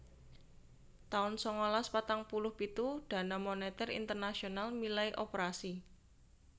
taun sangalas patang puluh pitu Dana Moneter Internasional milai operasi